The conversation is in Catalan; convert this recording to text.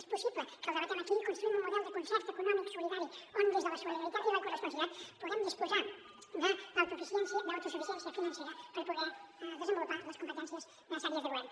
és possible que el debatem aquí i construïm un model de concert eco·nòmic solidari on des de la solidaritat i la corresponsabilitat puguem disposar d’au·tosuficiència financera per poder desenvolupar les competències necessàries de go·vern